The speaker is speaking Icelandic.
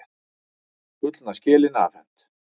Gullna skelin afhent